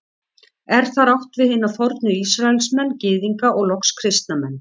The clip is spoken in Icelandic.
Er þar átt við hina fornu Ísraelsmenn, Gyðinga og loks kristna menn.